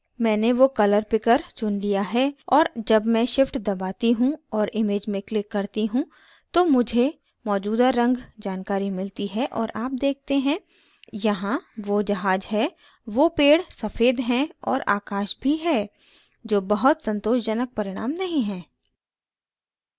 मैंने वो color picker चुन लिया है और जब मैं shift दबाती हूँ और image में click करती हूँ तो मुझे मौजूदा रंग जानकारी मिलती है और आप देखते हैं यहाँ वो जहाज है वो पेड़ सफ़ेद हैं और आकाश भी है जो बहुत संतोषजनक परिणाम नहीं है